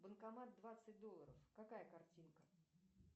банкомат двадцать долларов какая картинка